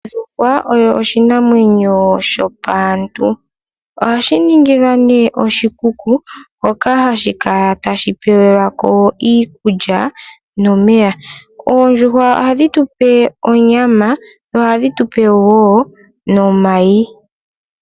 Ondjuhwa oyo oshinamwenyo shopaantu. Oha shi ningilwa nee oshikuku, moka hashi kala ta shi pewelwaa ko iikulya nomeya. Oondjuhwa oha dhi tu pe onyama, dho oha dhi tu pe wo nomay..